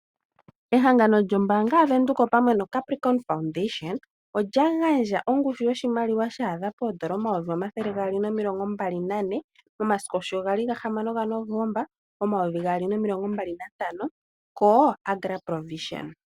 Ehangano lyombaanga yaVenduka opamwe noCapricorn Foundation olya gandja ongushu yoshimaliwa shaadha poondola omayovi omathele gaali nomilongo mbali nane, momasiku sho gali ga hamano gaNovomba omayovi gaali nomilongo mbali nantano koAgra ProVision.